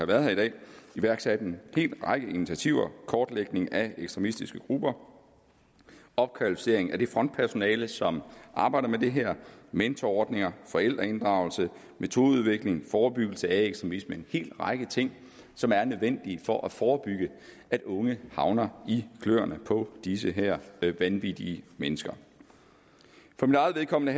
været her i dag iværksat en hel række initiativer kortlægning af ekstremistiske grupper opkvalificering af det frontpersonale som arbejder med det her mentorordninger forældreinddragelse metodeudvikling forebyggelse af ekstremisme altså en hel række ting som er nødvendige for at forebygge at unge havner i kløerne på de her vanvittige mennesker for mit eget vedkommende